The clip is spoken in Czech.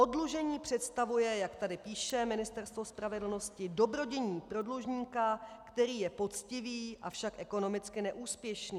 Oddlužení představuje, jak tady píše Ministerstvo spravedlnosti, dobrodiní pro dlužníka, který je poctivý, avšak ekonomicky neúspěšný.